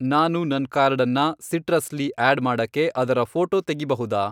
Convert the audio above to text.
ನಾನು ನನ್ ಕಾರ್ಡನ್ನ ಸಿಟ್ರಸ್ ಲಿ ಆಡ್ ಮಾಡಕ್ಕೆ ಅದರ ಫ಼ೋಟೋ ತೆಗಿಬಹುದಾ?